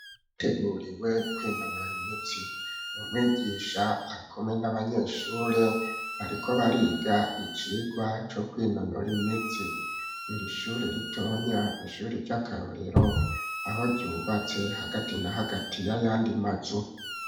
bateguriwe kw,inonora imitsi, umwigisha arikumwe n'abanyeshure bariko bariga icigwa co kwinonora imitsi, iri shure ritonya ni ishuri ry'akarorero aho ryubatse hagati na hagati ya yandi mazu.